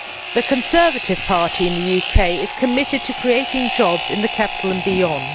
The Conservative Party in the UK is committed to creating jobs in the capital and beyond.